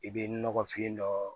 I bɛ nɔgɔfin dɔ